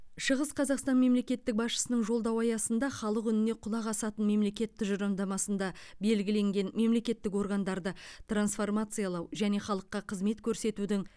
шығыс қазақстан мемлекеттік басшысының жолдауы аясында халық үніне құлақ асатын мемлекет тұжырымдамасында белгіленген мемлекеттік органдарды трансформациялау және халыққа қызмет көрсетудің